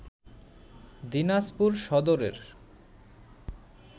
দিনাজপুর সদরের